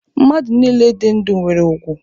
Mmadụ nile dị ndu nwere ùgwù.